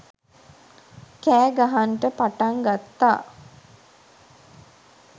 කෑ ගහන්ට පටන් ගත්තා.